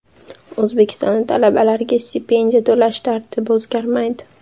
O‘zbekistonda talabalarga stipendiya to‘lash tartibi o‘zgarmaydi.